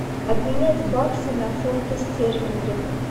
обменять баксы на фунты стерлинги